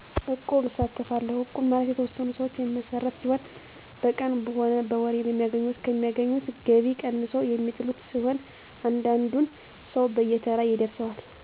እቁብ እሳተፋለሁ እቁብ ማለት የተወሠኑ ሰዎች የሚመሰረት ሲሆን በቀን ሆነ በወር ከሚያገኙት ከሚያገኙት ገቢ ቀንሰው የሚጥሉት ሲሆን እያንዳንዱን ሰው በየተራ ይደርሰዋል